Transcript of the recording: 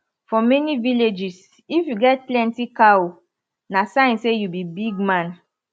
for many villages if you get plenty cow na sign say you be big man